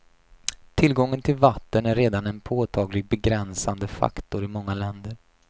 Tillgången till vatten är redan en påtaglig begränsande faktor i många länder.